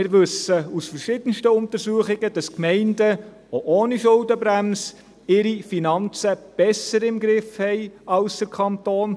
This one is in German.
Allerdings wissen wir aus verschiedenen Untersuchungen, dass die Gemeinden auch ohne Schuldenbremse ihre Finanzen besser im Griff haben als der Kanton.